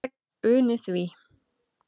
Ég uni því.